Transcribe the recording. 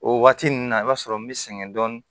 O waati ninnu na i b'a sɔrɔ n bɛ sɛgɛn dɔɔnin